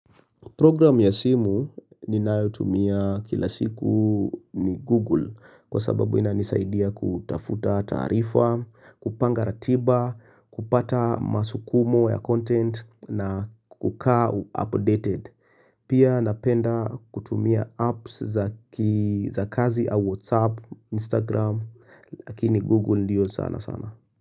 Program ya simu ninayotumia kila siku ni Google kwa sababu inanisaidia kutafuta taarifa, kupanga ratiba, kupata masukumo ya content na kukaa updated. Pia napenda kutumia apps za kazi au WhatsApp, Instagram, lakini Google ndiyo sana sana.